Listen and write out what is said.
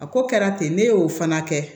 A ko kɛra ten ne y'o fana kɛ